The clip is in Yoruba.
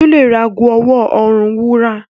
Sule rà àgọ ọwọ orùn wúrà.